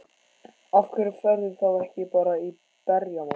Af hverju ferðu þá ekki bara í berjamó?